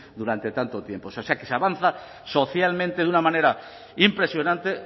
durante tanto tiempo o sea que se avanza socialmente de una manera impresionante